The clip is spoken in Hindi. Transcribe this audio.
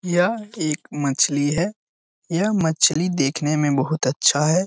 यह एक मछली है। यह मछली देखने में बहुत अच्छा है।